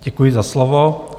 Děkuji za slovo.